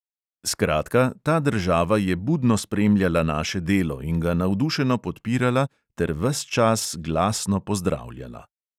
Skratka, ta država je budno spremljala naše delo in ga navdušeno podpirala ter ves čas glasno pozdravljala.